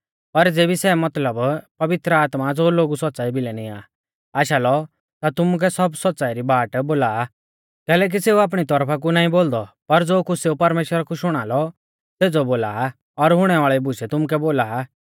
पर ज़ेबी सै मतलब पवित्र आत्मा ज़ो लोगु सौच़्च़ाई भिलै निंया आ आशा लौ ता तुमुकै सब सौच़्च़ाई री बाट बोला आ कैलैकि सेऊ आपणी तौरफा कु नाईं बोलदौ पर ज़ो कुछ़ सेऊ परमेश्‍वरा कु शुणा लौ सेज़ौ बोला आ और हुणै वाल़ी बुशै तुमुकै बोला आ